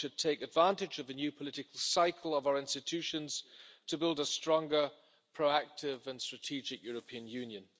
We should take advantage of the new political cycle of our institutions to build a stronger, more proactive and strategic European Union.